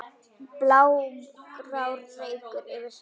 blágrár reykur yfir sveif